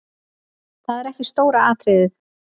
Það er ekki stóra atriðið.